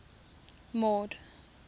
mord